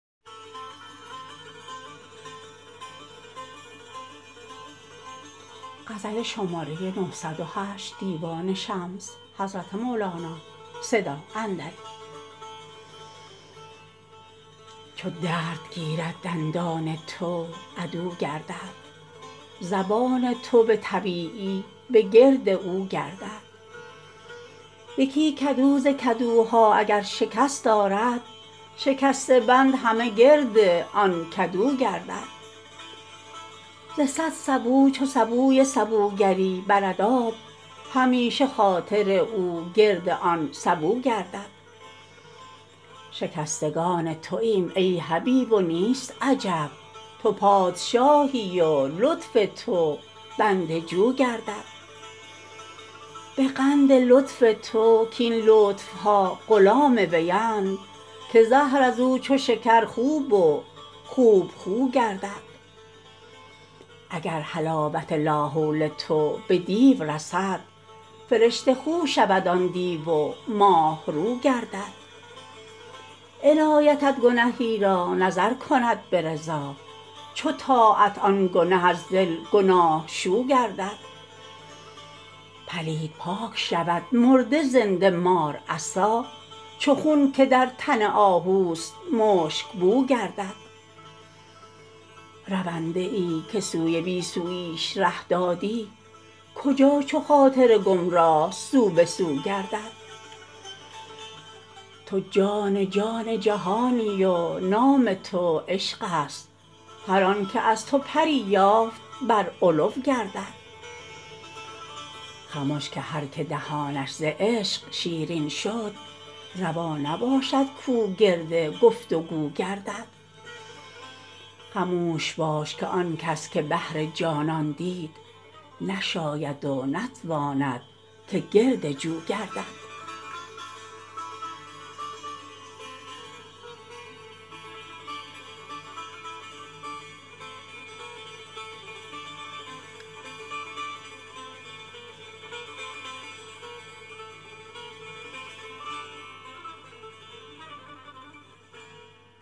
چو درد گیرد دندان تو عدو گردد زبان تو به طبیبی بگرد او گردد یکی کدو ز کدوها اگر شکست آرد شکسته بند همه گرد آن کدو گردد ز صد سبو چو سبوی سبوگری برد آب همیشه خاطر او گرد آن سبو گردد شکستگان تویم ای حبیب و نیست عجب تو پادشاهی و لطف تو بنده جو گردد به قند لطف تو کاین لطف ها غلام ویند که زهر از او چو شکر خوب و خوب خو گردد اگر حلاوت لاحول تو به دیو رسد فرشته خو شود آن دیو و ماه رو گردد عنایتت گنهی را نظر کند به رضا چو طاعت آن گنه از دل گناه شو گردد پلید پاک شود مرده زنده مار عصا چو خون که در تن آهوست مشک بو گردد رونده ای که سوی بی سوییش ره دادی کجا چو خاطر گمراه سو به سو گردد تو جان جان جهانی و نام تو عشق است هر آنک از تو پری یافت بر علو گردد خمش که هر کی دهانش ز عشق شیرین شد روا نباشد کو گرد گفت و گو گردد خموش باش که آن کس که بحر جانان دید نشاید و نتواند که گرد جو گردد